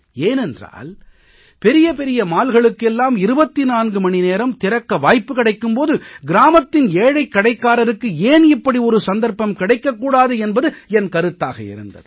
ஏனென்றால் பெரிய பெரிய mallகளுக்கு எல்லாம் 24 மணி நேரம் திறக்க வாய்ப்பு கிடைக்கும் போது கிராமத்தின் ஏழை கடைக்காரருக்கு ஏன் இப்படி ஒரு சந்தர்ப்பம் கிடைக்க கூடாது என்பது என் கருத்தாக இருந்தது